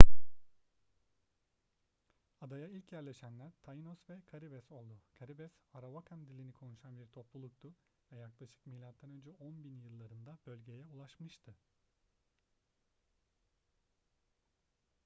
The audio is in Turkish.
adaya ilk yerleşenler taínos ve caribes oldu. caribes arawakan dilini konuşan bir topluluktu ve yaklaşık mö 10.000 yıllarında bölgeye ulaşmıştı